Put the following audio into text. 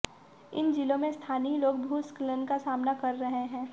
इन जिलों में स्थानीय लोग भूस्खलन का सामना कर रहे हैं